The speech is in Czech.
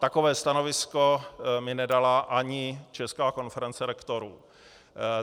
Takové stanovisko mi nedala ani Česká konference rektorů.